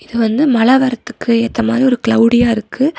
இது வந்து மழ வரத்துக்கு ஏத்த மாரி ஒரு க்லெளடியா இருக்கு.